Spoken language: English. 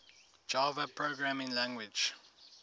java programming language